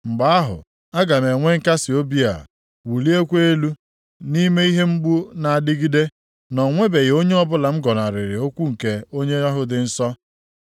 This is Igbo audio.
Mgbe ahụ, aga m enwe nkasiobi a, wụlikwaa elu + 6:10 Maọbụ, nwekwa ọṅụ nʼime ihe mgbu na-adịgide, na o nwebeghị oge ọbụla m gọnarịrị okwu nke Onye ahụ dị nsọ.